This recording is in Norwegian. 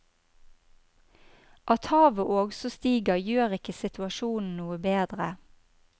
At havet også stiger gjør ikke situasjonen noe bedre.